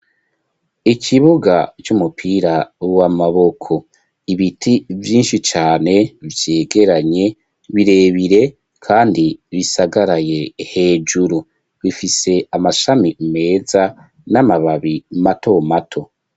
Ikibuga c'umupira w'amaboko, ibiti vyinshi cane vyegeranye birebire, kandi bisagaraye hejuru, bifise amashami meza n'amababi mato mato.